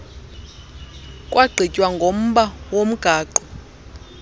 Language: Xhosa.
kwagqitywa ngomba womgaqo